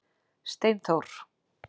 Steinþór